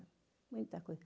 Muita coisa.